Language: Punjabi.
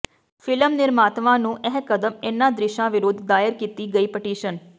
ਫਿ਼ਲਮ ਨਿਰਮਾਤਾਵਾਂ ਨੂੰ ਇਹ ਕਦਮ ਇਨ੍ਹਾਂ ਦ੍ਰਿਸ਼ਾਂ ਵਿਰੁੱਧ ਦਾਇਰ ਕੀਤੀ ਗਈ ਪਟੀਸ਼ਨ